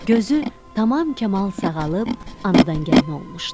Gözü tamam kamal sağalıb, anadan gəlmə olmuşdu.